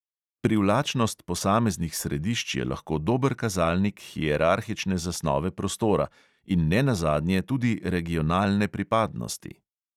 Privlačnost posameznih središč je lahko dober kazalnik hierarhične zasnove prostora in ne nazadnje tudi regionalne pripadnosti.